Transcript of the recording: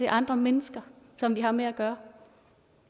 andre mennesker som vi har med at gøre